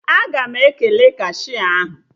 Aga m ekele kashia ahụ